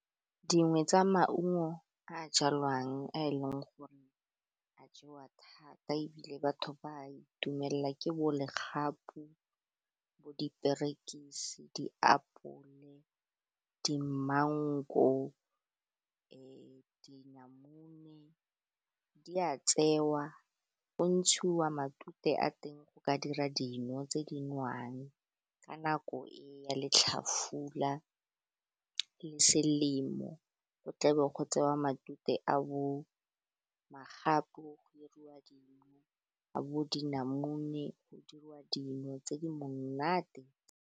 Dingwe tsa maungo a jalwang a e leng gore a jewa thata ebile batho ba itumelela ke bo legapu bo diperekisi, diapole, dimango, dinamune, di a tseiwa, go ntshiwa matute a teng go ka dira dino tse di nwang ka nako e ya letlhafula, le selemo, go tlabo go tsewa matute a bo magapu go diriwa dino a bo dinamune go dirwa dino tse di monate.